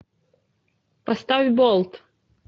поставь болт